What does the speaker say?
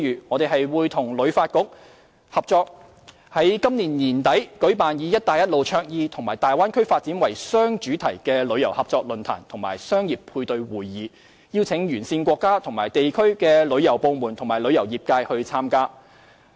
我們會與香港旅遊發展局合作，在今年年底舉辦以"一帶一路"倡議與大灣區發展為雙主題的旅遊合作論壇及商業配對會議，邀請沿線國家和地區旅遊部門及旅遊業界參加。